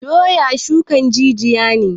Doya shukan jijiya ne